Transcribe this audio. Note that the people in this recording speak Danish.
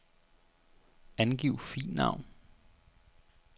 Angiv filnavn.